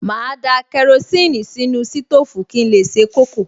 Màá da kerosíìnì sínú sítóòfù kí n lè se kókò